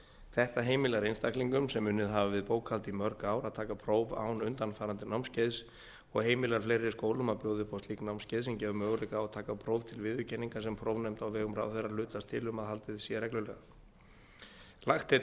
þetta heimilar einstaklingum sem unnið hafa við bókhald í mörg ár að taka próf án undanfarandi námskeiðs og heimilar fleiri skólum að bjóða upp á slík námskeið sem gefa möguleika á að taka próf til viðurkenningar sem prófnefnd á vegum ráðherra hlutast til um að haldið sé reglulega lagt er